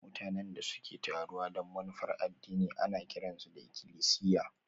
Mutanen da suke taruwa don manufar addini ana kiran su ikilisiya